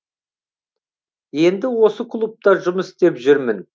енді осы клубта жұмыс істеп жүрмін